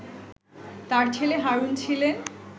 তার ছেলে হারুন ছিলেন